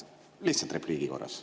Lihtsalt repliigi korras.